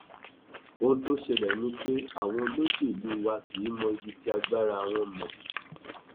ohun tó ṣẹlẹ ni pé àwọn olóṣèlú wa kì í mọ ibi tí agbára wọn mọ